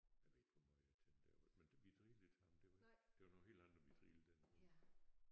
Jeg ved ikke hvor meget jeg tænkte da jeg var men vi drillede ham dog ikke det var nogle helt andre vi drillede dengang